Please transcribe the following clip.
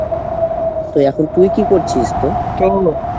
তো এখন তুই কী করছিস